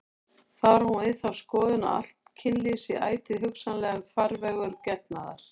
Þar á hún við þá skoðun að allt kynlíf sé ætíð hugsanlegur farvegur getnaðar.